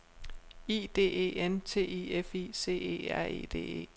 I D E N T I F I C E R E D E